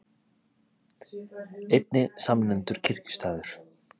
Einnig samnefndur kirkjustaður.